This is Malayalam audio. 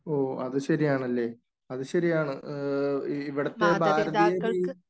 ഓ , അതുശരിയാണല്ലേ. അതു ശരിയാണ്. ഇവിടത്തെ ഭാരതീയ രീതി